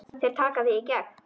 Þeir taka þig í gegn!